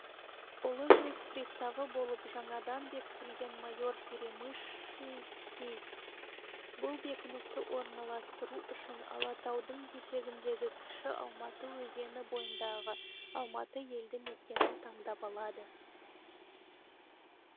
ұлы жүз приставы болып жаңадан бекітілген майор перемышльский бұл бекіністі орналастыру үшін алатаудың етегіндегі кіші алматы өзені бойындағы алматы елді мекенін таңдап алады